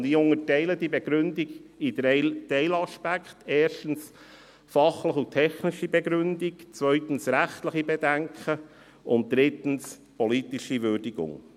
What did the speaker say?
Ich unterteile diese Begründung in drei Teilaspekte: erstens die fachlichen beziehungsweise technischen Begründungen, zweitens die rechtlichen Bedenken, drittens die politische Würdigung.